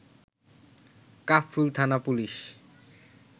কাফরুল থানা পুলিশ